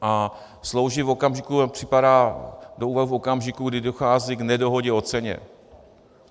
A slouží v okamžiku, připadá do úvahy v okamžiku, kdy dochází k nedohodě o ceně.